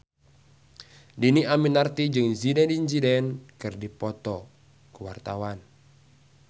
Dhini Aminarti jeung Zidane Zidane keur dipoto ku wartawan